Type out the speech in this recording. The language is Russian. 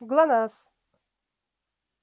глонассс